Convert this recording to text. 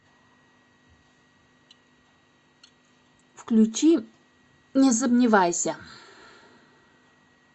включи не сомневайся